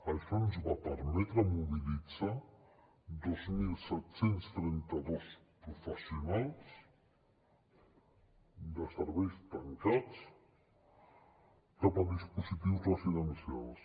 això ens va permetre mobilitzar dos mil set cents i trenta dos professionals de serveis tancats cap a dispositius residencials